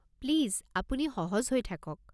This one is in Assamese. প্লিজ আপুনি সহজ হৈ থাকক।